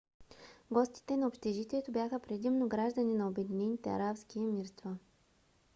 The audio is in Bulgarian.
гостите на общежитието бяха предимно граждани на обединените арабски емирства